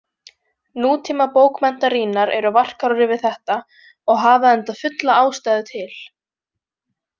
Nútímabókmenntarýnar eru varkárari við þetta og hafa enda fulla ástæðu til.